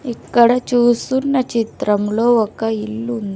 ఇక్కడ చూస్తున్న చిత్రంలో ఒక ఇల్లు ఉంది.